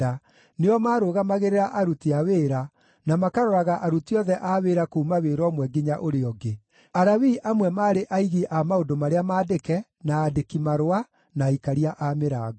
nĩo maarũgamagĩrĩra aruti a wĩra, na makaroraga aruti othe a wĩra kuuma wĩra ũmwe nginya ũrĩa ũngĩ. Alawii amwe maarĩ aigi a maũndũ marĩa maandĩke, na aandĩki-marũa, na aikaria a mĩrango.